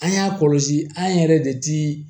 An y'a kɔlɔsi an yɛrɛ de ti